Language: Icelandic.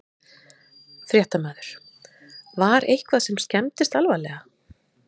Fréttamaður: Var eitthvað sem skemmdist alvarlega?